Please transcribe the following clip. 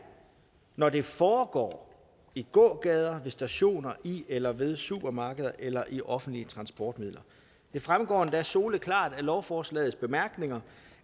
når det foregår i gågader ved stationer i eller ved supermarkeder eller i offentlige transportmidler det fremgår endda soleklart af lovforslagets bemærkninger